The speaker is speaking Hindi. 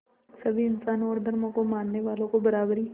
सभी इंसानों और धर्मों को मानने वालों को बराबरी